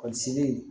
Polisi